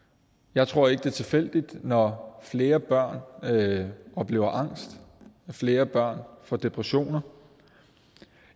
jeg tror ikke det er tilfældigt når flere børn oplever angst flere børn får depressioner